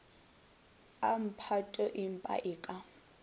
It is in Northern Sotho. a mphato empa e ka